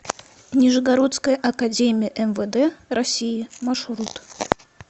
нижегородская академия мвд россии маршрут